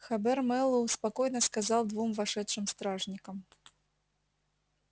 хобер мэллоу спокойно сказал двум вошедшим стражникам